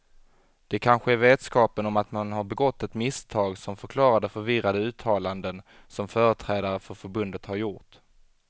Det kanske är vetskapen om att man har begått ett misstag som förklarar de förvirrade uttalanden som företrädare för förbundet har gjort.